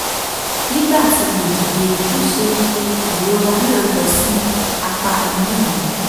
nígbà tí mo dìde ńṣe ni ìrora náà lọ sí apá inú mi